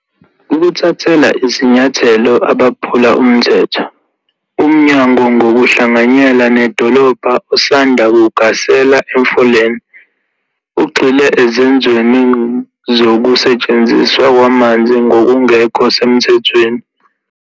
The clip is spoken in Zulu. Ukuthathela izinyathelo abaphula umthetho Umnyango ngokuhlanganyela nedolobha usanda kugasela eMfuleni, ugxile ezenzweni zokusetshenziswa kwamanzi ngokungekho semthethweni.